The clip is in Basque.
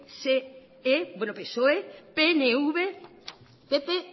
pse pnv pp